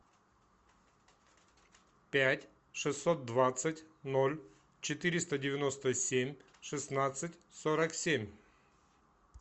пять шестьсот двадцать ноль четыреста девяносто семь шестнадцать сорок семь